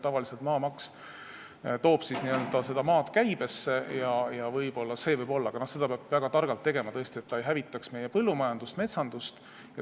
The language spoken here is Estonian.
Tavaliselt toob maamaks maad käibesse, aga seda peab väga targalt tegema, et see ei hävitaks meie põllumajandust ega metsandust.